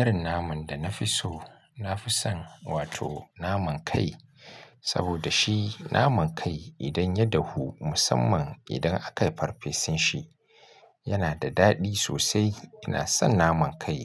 Irin naman da na fi so, na fi son wato naman kai. Saboda shi naman kai idan ya dahu musamman idan akai farfesun shi, yana da daɗi sosai. Ina son naman kai.